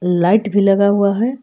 Light भी लगा हुआ है।